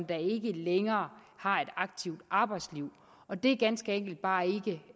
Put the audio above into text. der ikke længere har et aktivt arbejdsliv og det er ganske enkelt